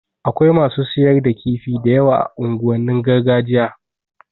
Akwai masu siyar da kifi da yawa a unguwannin gargajiya